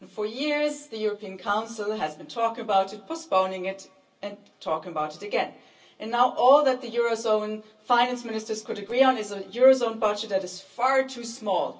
For years the European Council has been talking about it, postponing it, and talking about it again, and now all that the eurozone finance ministers could agree on is a eurozone budget that is far too small.